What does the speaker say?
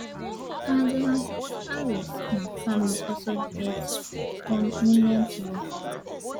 madam harris um family also get prominent role